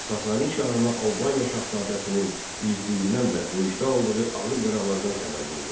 Sasani şahına Albaniya şahzadəsinin igidliyindən və döyüşdə aldığı ağır yaralardan xəbər verdilər.